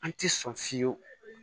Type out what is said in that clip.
An ti sɔn fiyewu